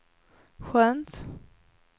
skönt